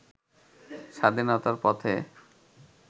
স্বাধীনতার পথে